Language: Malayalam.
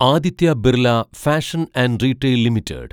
Aditya Birla fashion and retail limited